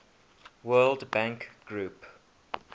world bank group